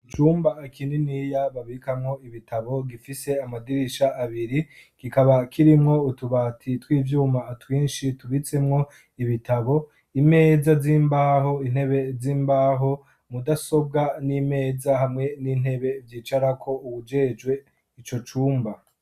Icumba kininiya babikamwo ibitabo gifise amadirisha abiri, kikaba kirimwo utubati tw'ivyuma twinshi tubitsemwo ibitabo, imeza z'imbaho, intebe z'imbaho, mudasobwa n'imeza, hamwe n'intebe vyicarako uwujejwe ico cumba.